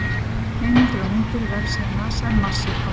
Heimildir og myndir: Vefsíða NASA um Mars-jeppana.